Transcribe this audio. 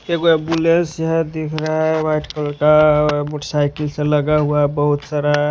एक गो एम्बुलेंस यहा दिख रहा है व्हाइट कलर का मोटरसाइकिल सब लगा हुआ है बोहोत सारा --